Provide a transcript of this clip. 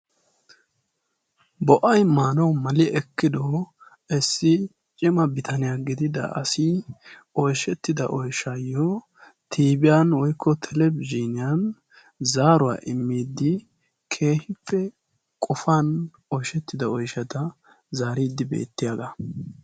Bo'ay maanawu mali ekkido issi cima bitaniyaa gidida asi oyshshettido oyshayyo tiibiyaan woykko telebizhiniyan zaaruwaa immiiddi keehippe qofan oyshettida oyshadan zaariiddi beettiyaagaa.